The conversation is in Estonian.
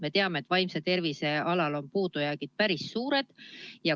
Me teame, et vaimse tervise valdkonnas on puudujäägid päris suured.